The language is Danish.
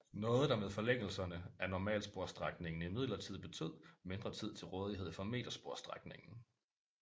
Noget der med forlængelserne af normalsporsstrækningen imidlertid betød mindre tid til rådighed for metersporsstrækningen